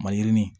Mayirinin